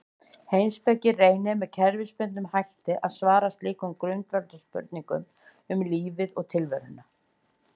Heimspeki reynir með kerfisbundnum hætti að svara slíkum grundvallarspurningum um lífið og tilveruna.